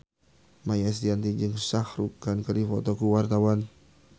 Maia Estianty jeung Shah Rukh Khan keur dipoto ku wartawan